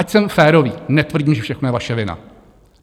Ať jsem férový, netvrdím, že všechno je vaše vina.